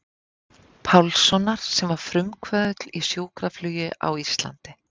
Pálssonar sem var frumkvöðull í sjúkraflugi á Íslandi.